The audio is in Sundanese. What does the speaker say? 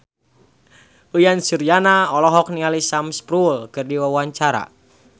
Uyan Suryana olohok ningali Sam Spruell keur diwawancara